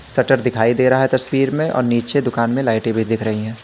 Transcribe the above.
Shutter दिखाई दे रहा है तस्वीर में और नीचे दुकान में लाइटे भी दिख रही है।